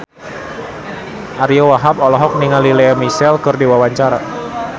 Ariyo Wahab olohok ningali Lea Michele keur diwawancara